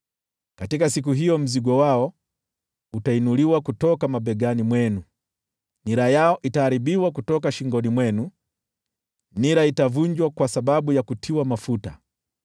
Katika siku hiyo mzigo wao utainuliwa kutoka mabegani mwenu, na nira yao kutoka shingoni mwenu; nira itavunjwa kwa sababu ya kutiwa mafuta.